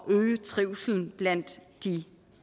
at øge trivslen blandt de